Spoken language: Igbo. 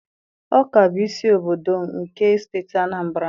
Ọka bụ isi obodo nke Steeti Anambra.